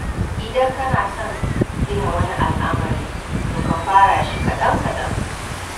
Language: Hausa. Idan kana son gina wani al'amari to ka fara shi kaɗan-kaɗan.